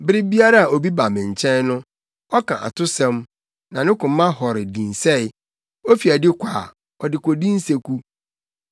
Bere biara a obi ba me nkyɛn no, ɔka atosɛm, na ne koma hɔre dinsɛe; ofi adi kɔ a, ɔde kodi nseku.